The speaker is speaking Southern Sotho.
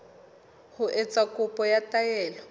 ho etsa kopo ya taelo